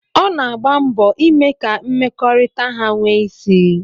Ọ na-agba mbọ ime ka mmekọrịta ha nwee isí.